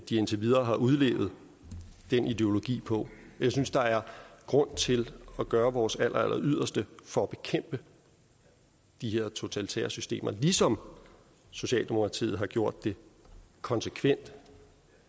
de indtil videre har udlevet den ideologi på jeg synes der er grund til at gøre vores alleralleryderste for at bekæmpe de her totalitære systemer ligesom socialdemokratiet har gjort det konsekvent